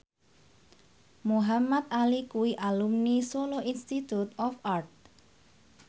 Muhamad Ali kuwi alumni Solo Institute of Art